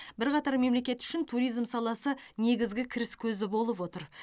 бірқатар мемлекет үшін туризм саласы негізгі кіріс көзі болып отыр